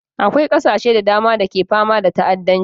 Akwai ƙasashe da dama da ke fama da ta'addanci